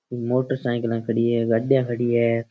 मोटरसाइकिला ख़ड़ी है गड्डियां खड़ी है।